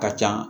Ka ca